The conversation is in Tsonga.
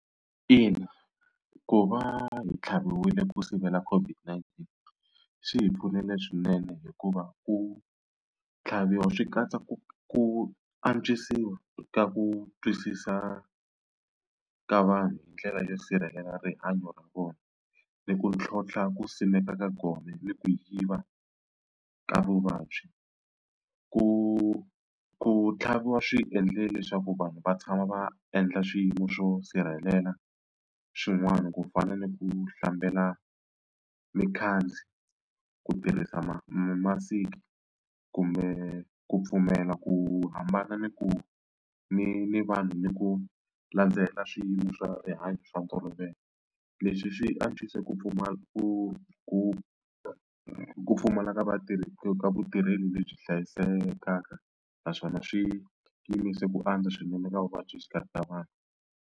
Ina ku va hi tlhaviwile ku sivela COVID-19 swi hi pfunile swinene hikuva ku tlhaviwa swi katsa ku ku antswisiwa ka ku twisisa ka vanhu hi ndlela yo sirhelela rihanyo ra vona ni ku tlhontlha ku simeka ka gome ni ku yiva ka vuvabyi. Ku ku tlhaviwa swi endle leswaku vanhu va tshama va endla swiyimo swo sirhelela xin'wani ku fana ni ku hlambela mikhandzi ku tirhisa ma mamasiki kumbe ku pfumela ku hambana ni ku ni ni vanhu ni ku landzela swiyimo swa rihanyo swa . Leswi swi antswise ku ku ku ku pfumala ka vatirhi ka vutirheli lebyi hlayisekaka naswona swi yimise ku antswa swinene ka vuvabyi exikarhi ka vanhu.